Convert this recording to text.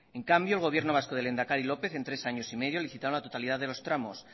en cambio el gobierno vasco del lehendakari lópez en tres años y medio licitaron la totalidad de los tramos